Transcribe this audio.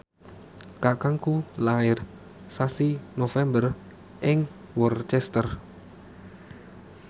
kakangku lair sasi November ing Worcester